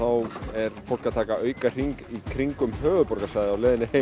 er fólk að taka auka hring í kringum höfuðborgarsvæðið